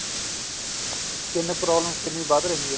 skin problem ਕਿੰਨੀ ਵੱਧ ਰਹੀ ਹੈ